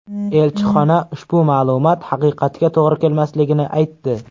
Elchixona ushbu ma’lumot haqiqatga to‘g‘ri kelmasligini aytdi.